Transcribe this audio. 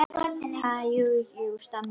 Ha- jú, jú stamaði Stjáni.